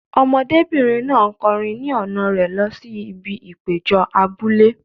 Ọmọdébìnrin náà ń kọrin ni ọ̀nà rẹ̀ lọ sí ibi ìpéjọ abúlé.